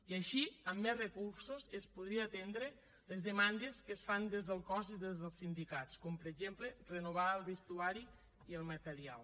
i així amb més recursos es podrien entendre les demandes que es fan des del cos i des dels sindicats com per exemple renovar ne el vestuari i el material